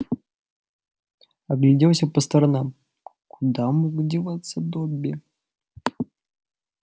огляделся по сторонам куда мог деваться добби